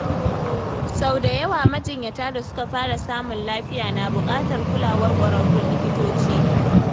Sau da yawa, majinyata da suka fara samun lafiya na buƙatar kulawar ƙwararrun likitoci.